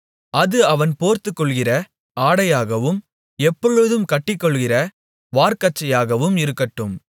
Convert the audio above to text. அது அவன் போர்த்துக்கொள்ளுகிற ஆடையாகவும் எப்பொழுதும் கட்டிக்கொள்ளுகிற வார்க்கச்சையாகவும் இருக்கட்டும்